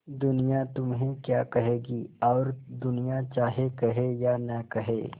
दुनिया तुम्हें क्या कहेगी और दुनिया चाहे कहे या न कहे